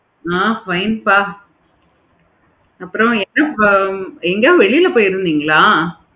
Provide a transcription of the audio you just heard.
நான் Fine பா. அப்பறம் என்னப்போ எங்காவது வெளில போயிருந்தீங்களா?